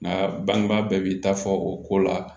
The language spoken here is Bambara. Nka bangebaa bɛɛ b'i ta fɔ o ko la